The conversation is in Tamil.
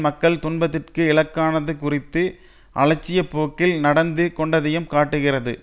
மக்கள் துன்பத்திற்கு இலக்கானது குறித்து அலட்சிய போக்கில் நடந்து கொண்டதையும் காட்டுகிறது